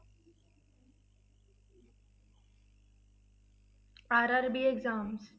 RRB exams